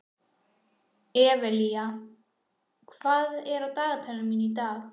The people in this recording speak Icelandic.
Evelía, hvað er á dagatalinu mínu í dag?